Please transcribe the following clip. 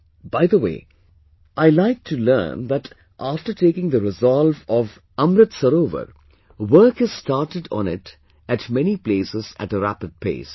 By the way, I like to learnthat after taking the resolve of Amrit Sarovar, work has started on it at many places at a rapid pace